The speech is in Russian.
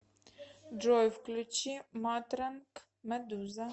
джой включи матранг медуза